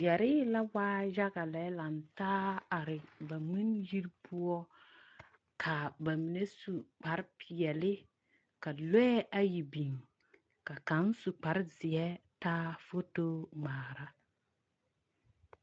Yԑree la waa yaga lantaa are ba ŋmenyiri poͻ, ka aba mine su kpare peԑ ka lͻԑ ayi biŋ, ka kaŋ su kpare zeԑ taa foto ŋmaara.